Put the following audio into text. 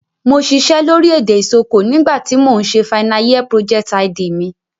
Mo sisẹ́ lórí èdè Isoko nígbà ti mo n se final year project_id mi